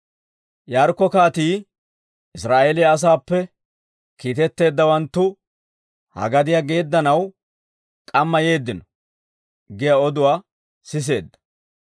Yaarikko kaatii, «Israa'eeliyaa asaappe kiitetteeddawanttu ha gadiyaa geeddanaw k'amma yeeddino» giyaa oduwaa siseedda.